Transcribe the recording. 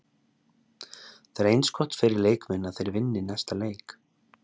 Það er eins gott fyrir leikmenn að þeir vinni næsta leik.